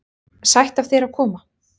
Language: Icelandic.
Sætt af þér að koma.